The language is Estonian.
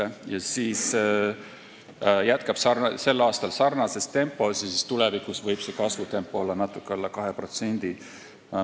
Eeldatavasti jätkab majandus sel aastal kasvamist sarnases tempos ja siis võib kasvutempo olla tulevikus natuke alla 2%.